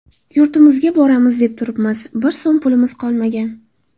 Yurtimizga boramiz deb turibmiz, bir so‘m pulimiz qolmagan.